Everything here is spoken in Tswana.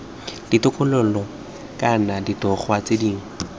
ditokololo kana ditogwa tse dingwe